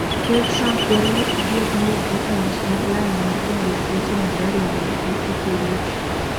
Kerr Trump dwaro ni adier oyudre e wach mar lala mar jandik weche habari mag Uturuki.